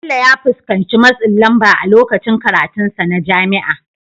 Bello ya fuskanci matsin lamba a lokacin karatunsa na jami'a.